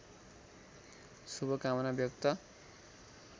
शुभकामना व्यक्त